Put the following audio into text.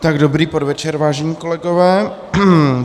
Dobrý podvečer, vážení kolegové.